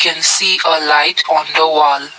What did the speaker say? can see a light on the wall.